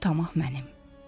bir tamah mənim.